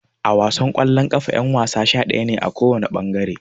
A wasan kwallon kafa yan-wasa sha-daya ne, a kowana bangare.